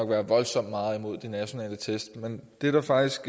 være voldsomt meget imod de nationale test men det der faktisk